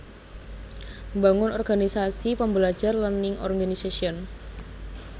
Mbangun organisasi pembelajar Learning Organization